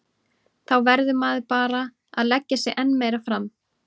Þá verður maður bara að leggja sig enn meira fram.